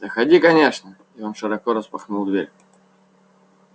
заходи конечно и он широко распахнул дверь